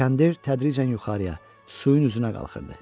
Kəndir tədricən yuxarıya, suyun üzünə qalxırdı.